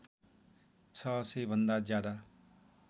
६०० भन्दा ज्यादा